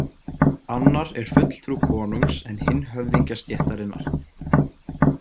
Annar er fulltrú konungs en hinn höfðingjastéttarinnar.